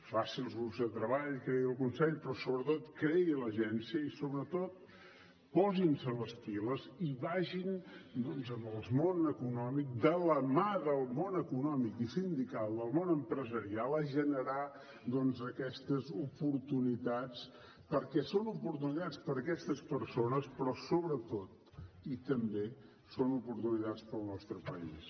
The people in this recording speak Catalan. faci els grups del treball creï el consell però sobretot creï l’agència i sobretot posin se les piles i vagin doncs amb el món econòmic de la mà del món econòmic i sindical del món empresarial a generar aquestes oportunitats perquè són oportunitats per a aquestes persones però sobretot i també són oportunitats per al nostre país